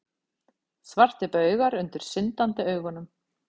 Svartir baugar undir syndandi augunum.